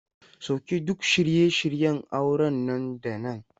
Sauke duk shirye shiryen auren nan da nan!